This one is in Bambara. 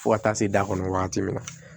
Fo ka taa se da kɔnɔ wagati min na